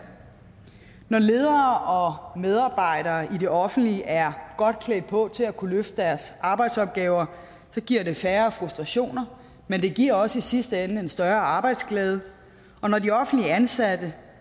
når ledere og medarbejdere i det offentlige er godt klædt på til at kunne løfte deres arbejdsopgaver giver det færre frustrationer men det giver også i sidste ende en større arbejdsglæde og når de offentligt ansatte